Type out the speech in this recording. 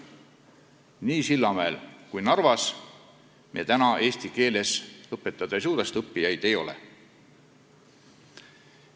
Ei Sillamäel ega Narvas me eesti keeles õpetada ei saa, sest õppijaid ei ole.